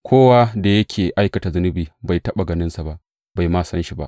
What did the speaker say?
Kowa da yake aikata zunubi, bai taɓa ganinsa ba, bai ma san shi ba.